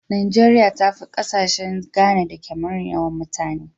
Nigeria tafi kasashe Ghana da Cameron yawan mutane.